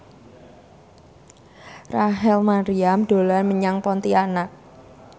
Rachel Maryam dolan menyang Pontianak